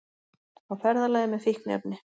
Á ferðalagi með fíkniefni